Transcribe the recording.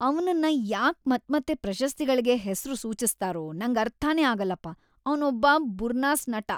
ಅವ್ನನ್ನ ಯಾಕ್‌ ಮತ್ಮತ್ತೆ ಪ್ರಶಸ್ತಿಗಳ್ಗೆ ಹೆಸ್ರು ಸೂಚಿಸ್ತಾರೋ ನಂಗರ್ಥನೇ ಆಗಲ್ಲಪ. ಅವ್ನೊಬ್ಬ ಬುರ್ನಾಸ್‌ ನಟ.